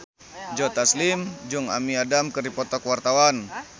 Joe Taslim jeung Amy Adams keur dipoto ku wartawan